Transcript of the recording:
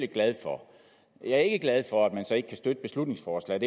glad for jeg er ikke glad for at man så ikke kan støtte beslutningsforslaget